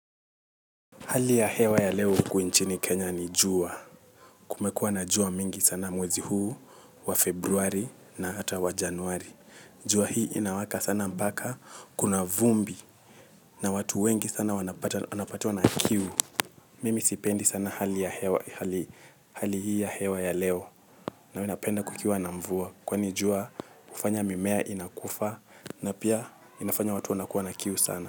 Hali ya hewa ya leo huku nchini Kenya ni jua. Kumekuwa na jua mingi sana mwezi huu wa Februari na ata wa Januari. Jua hii inawaka sana mpaka kuna vumbi na watu wengi sana wanapatwa na kiu. Mimi sipendi sana hali hii ya hewa ya leo na wena penda kukiwa na mvua. Kwani jua ufanya mimea inakufa na pia inafanya watu wanakua na kiu sana.